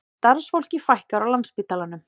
Starfsfólki fækkar á Landspítalanum